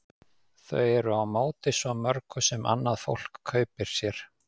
Þau eru á móti svo mörgu sem annað fólk kaupir sér.